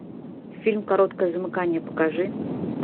фильм короткое замыкание покажи